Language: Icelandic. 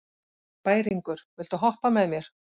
Bæringur, viltu hoppa með mér?